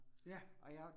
Ja